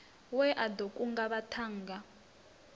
we a ḓo kunga vhaṱhannga